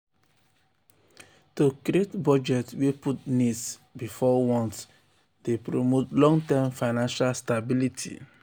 to create budget wey put needs before wants dey promote long-term financial stability.